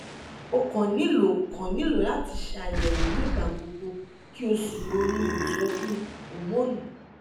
o kan nilo kan nilo lati ṣe ayẹwo nigbagbogbo ki o si ronu itọju homonu